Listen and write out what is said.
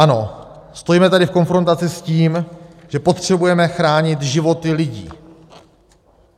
Ano, stojíme tady v konfrontaci s tím, že potřebujeme chránit životy lidí.